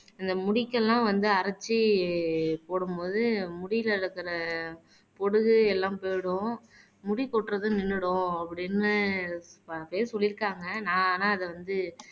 இந்த முடிக்கெல்லாம் வந்து அரைச்சு போடும் போது முடியில இருக்கிற பொடுகு எல்லாம் போயிடும் முடி கொட்டுறது நின்னுடும் அப்படின்னு பல பேர் சொல்லிருக்காங்க நான் ஆனால் அத வந்து